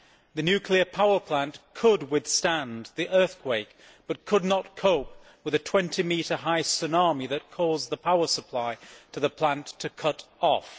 The nuclear power plant could withstand the earthquake, but could not cope with a 20 metre high tsunami that caused the power supply to the plant to cut off.